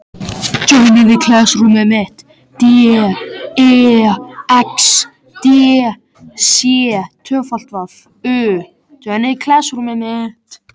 Hún horfði framhjá mér með leyndardómsfullt bros á vörunum.